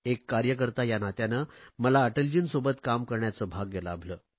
एक कार्यकर्ता या नात्याने मला अटलजींसोबत काम करण्याचे भाग्य लाभले